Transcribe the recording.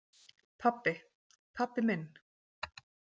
Pabbi, pabbi minn!